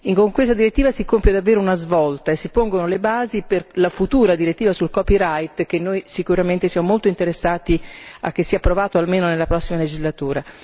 Con questa direttiva si compie davvero una svolta e si pongono le basi per la futura direttiva sul copyright per la quale noi sicuramente siamo molto interessati a che sia approvata almeno nella prossima legislatura.